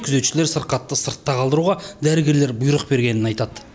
күзетшілер сырқатты сыртқа қалдыруға дәрігерлер бұйрық бергенін айтады